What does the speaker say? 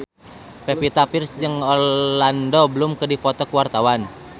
Pevita Pearce jeung Orlando Bloom keur dipoto ku wartawan